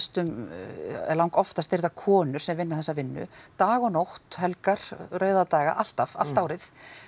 langoftast eru þetta konur sem vinna þessa vinnu dag og nótt helgar rauða daga alltaf allt árið